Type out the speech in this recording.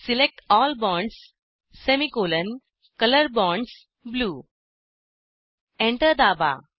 select L bonds semicolon colour bonds blue enter दाबा